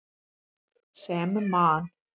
Sem Man.